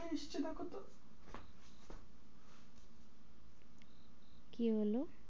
কি হলো?